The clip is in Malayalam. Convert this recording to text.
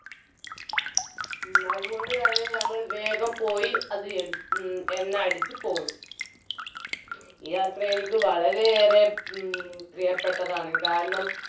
അതുകൊണ്ട്തന്നെ ഞങ്ങൾ വേഗം പോയി അത് അടി എണ്ണ അടിച്ചു പോന്നു ഈ യാത്ര എനിക്ക് വളരെ ഏറെ മ് പ്രിയപ്പെട്ടതാണ് കാരണം